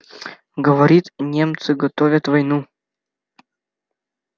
говорит немцы готовят войну